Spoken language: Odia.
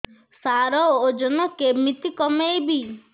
ସାର ଓଜନ କେମିତି କମେଇବି